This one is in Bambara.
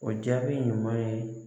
O jaabi ɲuman ye